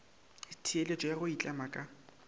theeletšo ya go itlema ka